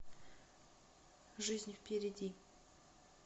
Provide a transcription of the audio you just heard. жизнь впереди